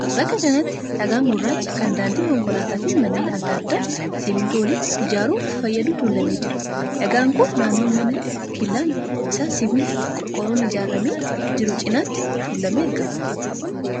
bakka kanatti dhagaan gurraachaa kan daandii konkolaataa fi manneen adda addaa simmintoo waliin ijaaruuf fayyadu tuulamee jira. dhagaan kun naannoo mana killaan isaa sibiila qorqorroon ijaaramee jiru cinatti tuulamee argama.